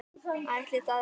Ætli það ekki.